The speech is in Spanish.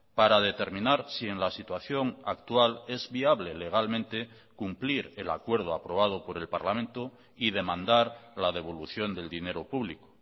para determinar si en la situación actual es viable legalmente cumplir el acuerdo aprobado por el parlamento y demandar la devolución del dinero público